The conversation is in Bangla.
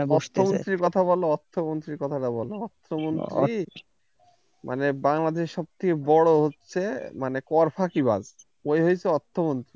অর্থ মন্ত্রির কথা টা বলো অর্থ মন্ত্রীর মানে বাংলাদেশের সব থেকে বড় হচ্ছে মানে কর ফাঁকিবাজ ও হচ্ছে অর্থ মন্ত্রী